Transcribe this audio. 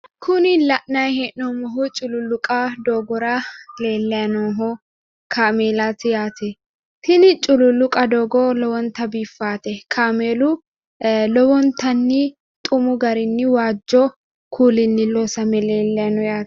Kuni la'nayi hee'noommohu cululluqa doogora leellayi nooho kaameelaati yaate tini cululluqa doogo lowonta biiffaate kaameelu lowontanni xumu garinni waajjo kuulinni loosame leellayi no yaate